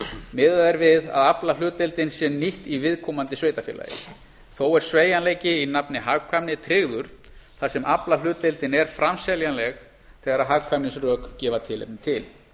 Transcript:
miðað er við að aflahlutdeildin sé nýtt í viðkomandi sveitarfélagi þó er sveigjanleiki í nafni hagkvæmni tryggður þar sem aflahlutdeildin er framseljanleg þegar hagkvæmnisrök gefa tilefni til